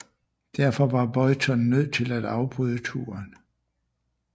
Derfor var Boyton nødt til at afbryde turen